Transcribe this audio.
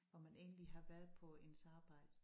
Hvor man egentlig har været på ens arbejde